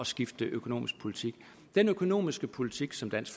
skifte økonomisk politik den økonomiske politik som dansk